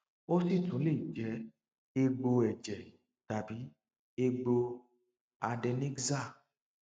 ó sì tún lè jẹ egbò ẹjẹ tàbí egbò adenexal